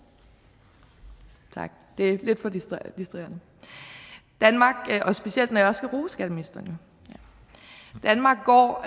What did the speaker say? tak det er lidt for distraherende specielt når jeg jo også skal rose skatteministeren danmark går